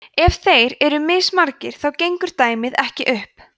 ef þeir eru mismargir þá gengur dæmið ekki upp